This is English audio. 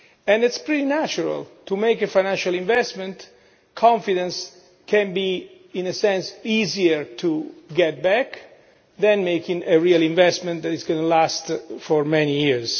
It is pretty natural to make a financial investment, confidence can be, in a sense, easier to get back than making a real investment that is going to last for many years.